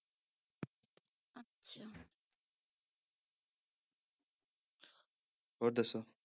ਹੋਰ ਦੱਸੋ।